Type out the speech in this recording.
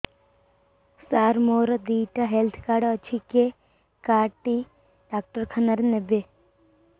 ସାର ମୋର ଦିଇଟା health card ଅଛି କେ କାର୍ଡ ଟି ଡାକ୍ତରଖାନା ରେ ନେବେ